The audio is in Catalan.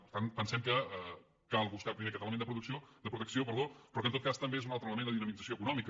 per tant pensem que cal buscar primer aquest element de protecció però que en tot cas també és en un altre element de dinamització econòmica